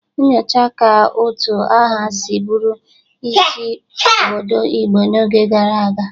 Nyochaa ka utu aha si bụrụ isi obodo Igbo n'oge gara aga.